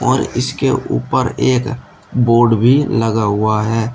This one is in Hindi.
और इसके ऊपर एक बोर्ड भी लगा हुआ है।